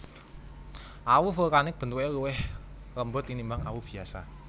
Awu vulkanik bentuke luwih lembut tinimbang awu biasa